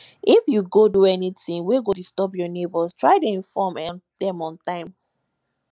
if you go do anything wey go disturb your neighbors try inform dem on time